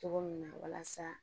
Cogo min na walasa